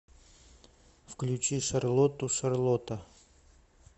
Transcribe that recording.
включи шарлоту шарлота